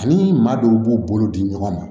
Ani maa dɔw b'u bolo di ɲɔgɔn ma